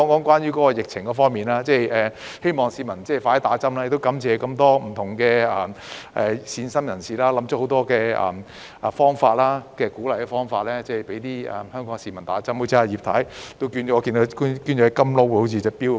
最後，在疫情方面，我希望市民盡快接種疫苗，亦感謝各位善心人士想出很多方法鼓勵香港市民接種疫苗，例如葉太好像捐出了一隻"金勞"手錶。